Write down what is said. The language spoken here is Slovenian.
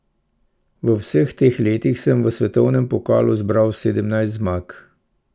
V vseh teh letih sem v svetovnem pokalu zbral sedemnajst zmag.